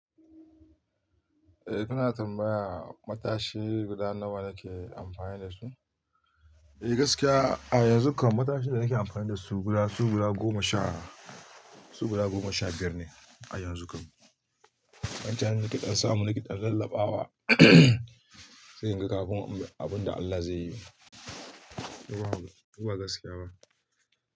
Eh, kana tambaya matashi guda nawa nake amfani da shi? Eh gaskiya a yanzu kam matashin da nake amfani da su guda su guda goma sha, su guda goma sha biyar ne a yanzu kam. Wancan na kiɗan samu na kiɗan rallaɓawa sai in ga kafin abun da Allah zai yi. Koba gaskiya ba.